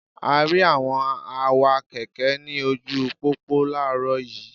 A rí àwọn awakẹ̀kẹ́ ní ojúu pópó láàárọ̀ yiiiw.